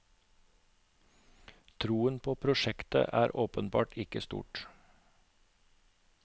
Troen på prosjektet er åpenbart ikke stor.